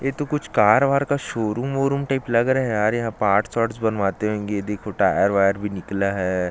ये तो कार -वॉर का शोरूम टाइप का लग रहा है यार पार्ट्स -वाटस बनवाते होंगे देखो टायर -वायर निकला हैं।